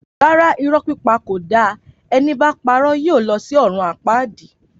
Rárá, Irọ pípà kó dà, ẹni bà pàró yio lò sí òrún àpàdí